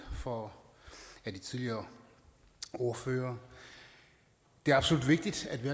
for af de tidligere ordførere det er absolut vigtigt at vi